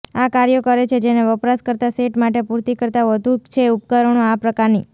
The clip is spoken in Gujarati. આ કાર્યો કરે છે જેને વપરાશકર્તા સેટ માટે પૂરતી કરતાં વધુ છે ઉપકરણો આ પ્રકારની